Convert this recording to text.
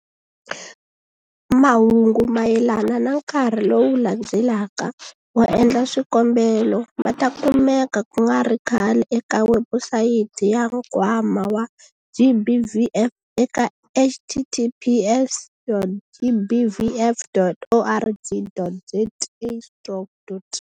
Mahungu mayelana na nkarhi lowu landzelaka wo endla swikombelo ma ta kumeka ku nga ri khale eka webusayiti ya Nkwama wa GBVF eka- https dot gbvf dot org dot za stroke dot.